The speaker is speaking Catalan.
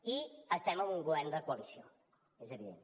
i estem en un govern de coalició és evident